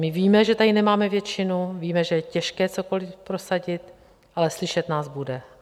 My víme, že tady nemáme většinu, víme, že je těžké cokoliv prosadit, ale slyšet nás bude.